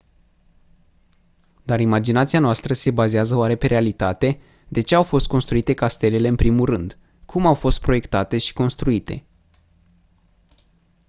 dar imaginația noastră se bazează oare pe realitate de ce au fost construite castelele în primul rând cum au fost proiectate și construite